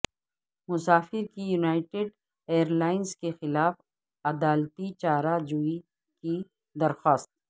مسافر کی United Airlines کے خلاف عدالتی چارہ جوئی کی درخواست